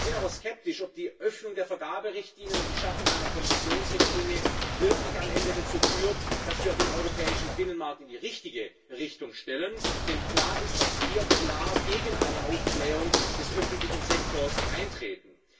Wir sind aber skeptisch, ob die Öffnung der Vergaberichtlinien und die Schaffung einer Konzessionsrichtlinie wirklich am Ende dazu führt, dass wir den europäischen Binnenmarkt in die richtige Richtung stellen, denn klar ist, dass wir klar gegen eine Aufblähung des öffentlichen Sektors eintreten.